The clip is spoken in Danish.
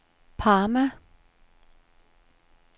Parma